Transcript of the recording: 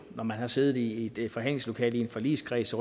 at når man har siddet i et forhandlingslokale i en forligskreds